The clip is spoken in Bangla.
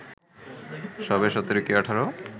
সবে ১৭ কি ১৮